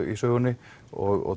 í sögunni og